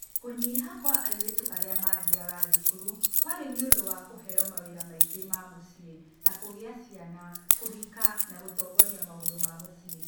Kũnyĩha kwa airĩtu arĩa maathiaga thukuru kwarĩ nĩũndũ wa kuheyo mawĩra maingĩ ma mũciĩ (ta ma kũgĩa ciana, kũhika, na gũtongoria maũndũ ma mũciĩ).